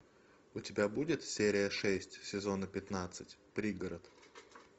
у тебя будет серия шесть сезона пятнадцать пригород